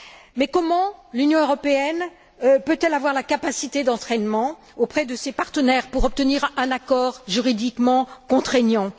Mais comment l'Union européenne peut elle avoir la capacité d'entraînement auprès de ses partenaires pour obtenir un accord juridiquement contraignant?